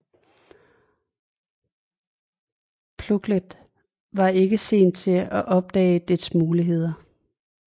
Plunkett var ikke sen til at opdage dets muligheder